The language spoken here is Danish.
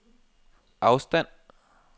afstand